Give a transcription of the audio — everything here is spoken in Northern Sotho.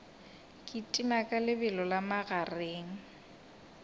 kitima ka lebelo la magareng